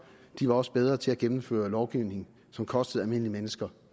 de var også bedre til at gennemføre lovgivning som kostede almindelige mennesker